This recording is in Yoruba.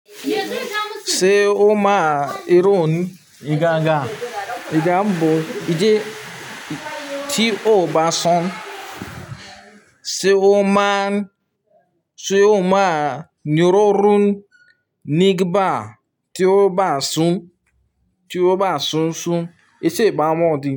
Ṣé ó máa ròn ìga àga? Ìga n bo, ìdí tí ó bá sàn. Ṣé ó máa, ṣe ó máa níròrún nigba tí ó bá sun, tí ó bá sun sun? Èṣó ìbá ọmọdé.